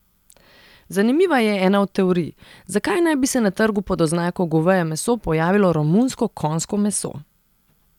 Zanimiva je ena od teorij, zakaj naj bi se na trgu pod oznako goveje meso pojavilo romunsko konjsko meso.